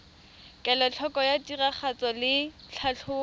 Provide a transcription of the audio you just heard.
kelotlhoko ya tiragatso le tlhatlhobo